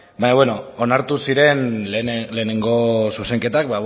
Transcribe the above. baina bueno onartu ziren lehenengo zuzenketak